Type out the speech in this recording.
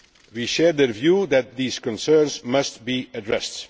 We share their view that these concerns must be addressed.